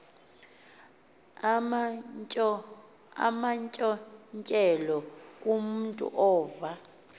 amantyontyelo kumntu ova